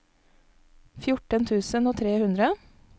fjorten tusen og tre hundre